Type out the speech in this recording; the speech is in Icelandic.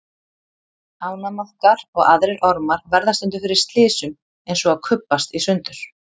Ánamaðkar og aðrir ormar verða stundum fyrir slysum eins og að kubbast í sundur.